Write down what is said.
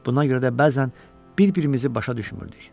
Buna görə də bəzən bir-birimizi başa düşmürdük.